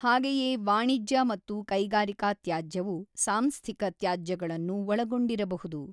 ಹಾಗೆಯೇ ವಾಣಿಜ್ಯ ಮತ್ತು ಕೈಗಾರಿಕಾ ತ್ಯಾಜ್ಯವು ಸಾಂಸ್ಥಿಕ ತ್ಯಾಜ್ಯಗಳನ್ನು ಒಳಗೊಂಡಿರಬಹುದು.